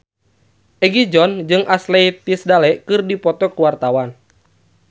Egi John jeung Ashley Tisdale keur dipoto ku wartawan